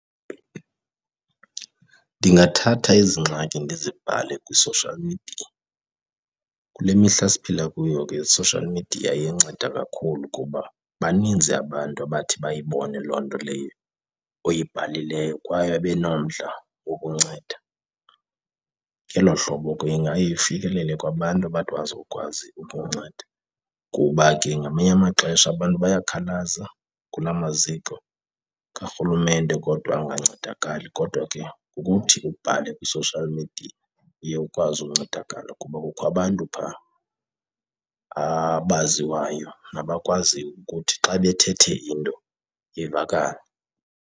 Ndingathatha ezi ngxaki ndizibhale kwi-social media. Kule mihla siphila kuyo ke i-social media iyanceda kakhulu kuba baninzi abantu abathi bayibone olo nto leyo uyibhalileyo kwaye babe nomdla wokunceda. Ngelo hlobo ke ingaye ifikelele kwabantu abathi bazokwazi ukunceda kuba ke ngamanye amaxesha abantu bayakhalaza kula maziko karhulumente kodwa angancedakali. Kodwa ke ngokuthi ubhale kwi-social media uye ukwazi uncedakala kuba kukho abantu phaa abaziwayo nabakwaziyo ukuthi xa bethethe into ivakale.